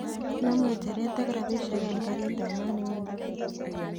Nam ng'echeret ak rabishiek en karit ab maat newendi nairobi